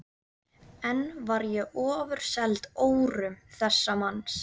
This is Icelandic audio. Enn var ég ofurseld órum þessa manns.